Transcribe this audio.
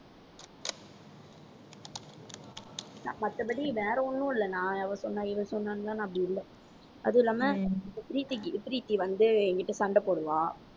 மத்தபடி வேற ஒண்ணும் இல்ல நான் அவ சொன்னா இவ சொன்னான்னுலாம் நான் அப்படி இல்ல. அது இல்லாம பிரீத்திக்கு பிரீத்தி வந்து என்கிட்ட சண்டை போடுவா.